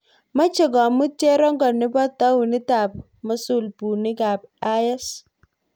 Meche komuut cherongo nebo tounit ab Mosul buunik ab IS